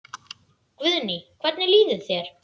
Guðný: Hvernig líður þér?